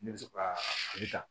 Ne bɛ se ka ta